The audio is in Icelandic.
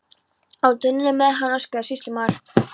Á tunnuna með hann, öskraði sýslumaður.